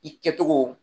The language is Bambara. I kɛcogo